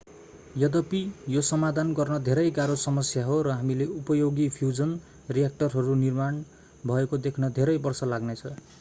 यद्यपि यो समाधान गर्न धेरै गाह्रो समस्या हो र हामीले उपयोगी फ्यूजन रिएक्टरहरू निर्माण भएको देख्न धेरै वर्ष लाग्ने छ